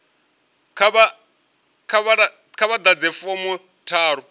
kha vha ḓadze fomo tharu